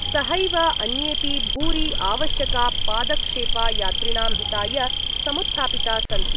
सहैव अन्येपि भूरि आवश्यका पादक्षेपा यात्रिणां हिताय समुत्थापिता सन्ति।